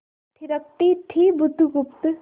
थिरकती थी बुधगुप्त